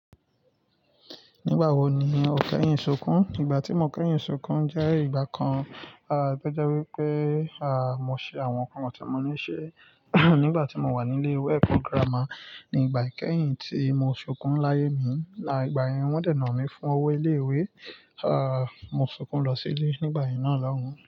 Nígbà wo ni o kẹ́yìn sunkún? Ìgbà tí mo kẹ́yìn sunkún jẹ́ ìgbà kan, ah, to jẹ́ wipé, ah, mo ṣe àwọn nǹkan tí mo ní ṣe nígbà tí mo wà nílé ìwé ẹkọ́ girama ní ìgbà ìkẹ́yìn tí mo sokún láyé mi. Igbà yẹn wọ́n dènà mí fún owó ilé ìwé. Ah, mo sunkún lọ sílé nígbà yen náà lọ́hun.